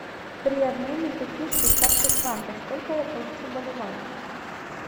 при обмене пяти швейцарских франков сколько я получу боливаров